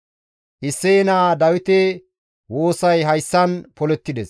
Isseye naa Dawite woosay hayssan polettides.